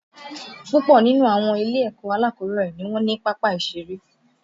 Púpọ̀ nínú àwọn ilé-ẹ̀kọ́ alákọ̀ọ́bẹ̀rẹ̀ ni wọn ní pápá ìṣeré